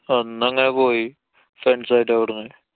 അന്നങ്ങനെ പോയി. friends ആയിട്ടവിടുന്ന്.